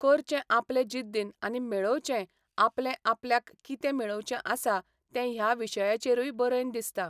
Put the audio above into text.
करचें आपलें जिद्दीन आनी मेळोवचें आपलें आपल्याक कितें मेळोवचें आसा तें ह्या विशयाचेरूय बरयन दिसता.